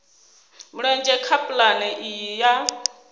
mulenzhe kha pulane iyi ya